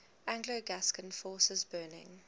anglo gascon forces burning